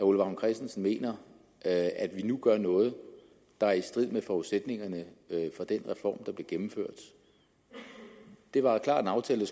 ole vagn christensen mener at vi nu gør noget der er i strid med forudsætningerne for den reform der blev gennemført det var klart en aftale